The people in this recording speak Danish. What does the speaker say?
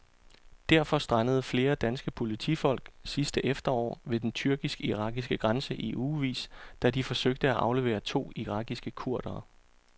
Derfor strandede flere danske politifolk sidste efterår ved den tyrkisk-irakiske grænse i ugevis, da de forsøgte at aflevere to irakiske kurdere.